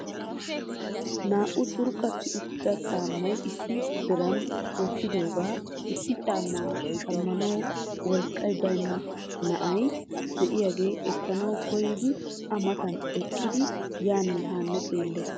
naa''u curqqati uttida caamma issi diran wottidooga issi caamma shammanaw wolqqay baynna na'ay de'iyaage ekkanaw koyyidi a matan eqqidi yaanne haa xeelees.